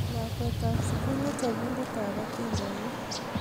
Lakwetap sukul ko chopindetap atindonik